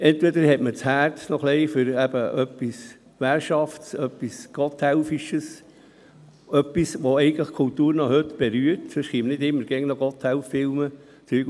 Vielleicht hat man noch ein wenig ein Herz für etwas Währschaftes, etwas «Gotthelfisches», etwas, was die Kultur noch heute berührt, denn sonst würden nicht immer noch Gotthelf-Filme gezeigt und so weiter.